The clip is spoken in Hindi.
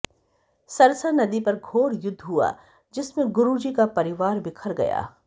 सरसा नदी पर घोर युद्ध हुआ जिसमें गुरु जी का परिवार बिखर गया